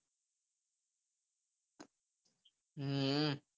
હમ